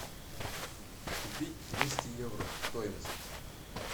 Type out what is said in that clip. купить двести евро стоимость